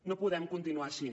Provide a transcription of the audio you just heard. no podem continuar així